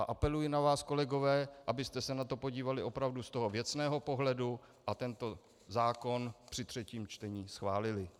A apeluji na vás, kolegové, abyste se na to podívali opravdu z toho věcného pohledu a tento zákon při třetím čtení schválili.